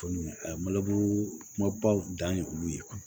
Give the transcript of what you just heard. Tumu a ye kumabaw dan ye olu ye